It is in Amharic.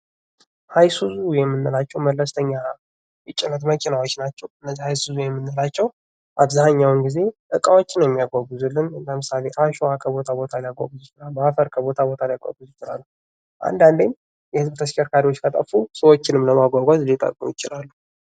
አይሱዙ የምንለው መለስተኛ የጭነት መኪናዎች ናቸው:: እነዚህ አይሱዙ የምንላቸው አብዛኛውን ጊዜ እቃዎችን የሚያይጕጉዙልን ለምሳሌ አሸዋ ከቦታ ቦታ አፈር ከቦታ ቦታ ሊያጕዙ ይችላሉ:: አንዳንዴም የህዝብ ተሽከርካሪዎች ከጠፉ ሰዎችንም ከማጕጕዝ ሊጠቅሙ ይችላሉ::